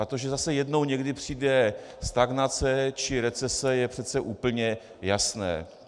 A to, že zase jednou někdy přijde stagnace či recese, je přece úplně jasné.